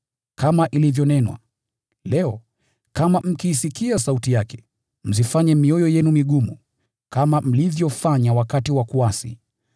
Kama ilivyonenwa: “Leo, kama mkiisikia sauti yake, msiifanye mioyo yenu migumu kama mlivyofanya wakati wa kuasi.”